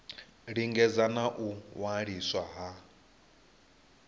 lingedza na u waliswa ha